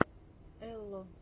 элло